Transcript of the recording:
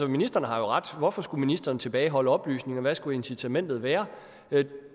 ministeren har jo ret hvorfor skulle ministeren tilbageholde oplysninger hvad skulle incitamentet være